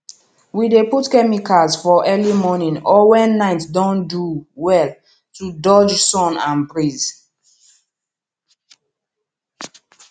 we dey put chemicals for early morning or when night don do well to dodge sun and breeze